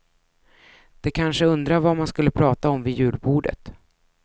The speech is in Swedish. De kanske undrar vad man skulle prata om vid julbordet.